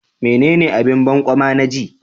Menene abin banƙyama na ji?